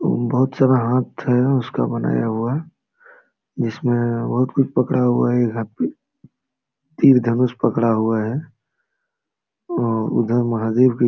बहुत सारा हाथ है उसका बनाया हुआ जिसमें और बहुत कुछ पकड़ा हुआ है एक हाथ में तीर धनुष पकड़ा हुआ है और उधर महादेव भी --